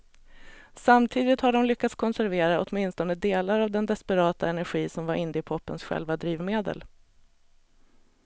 Samtidigt har de lyckats konservera åtminstone delar av den desperata energi som var indiepopens själva drivmedel.